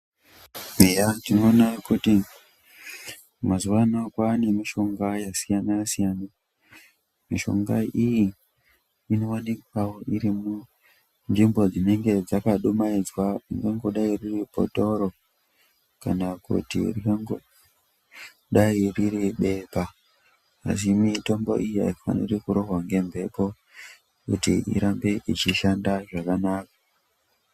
Eya tinoona kuti mazuva ano kwaane mishonga yakasiyana-siyana. Mishonga iyi inoonekwa irimunzvimbo dzinenge dzakadumaidzwa inongodai iri bhotoro kana kuti ringangodai ririphepa ngekuti mitombo iyi haidi kurohwa nemhepo kuti irambe ichishanda zvakanaka.